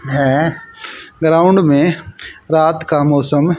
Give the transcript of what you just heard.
हए ग्राउंड में रात का मौसम--